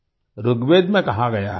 ऋग्वेद में कहा गया है